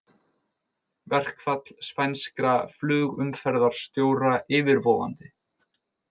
Verkfall spænskra flugumferðarstjóra yfirvofandi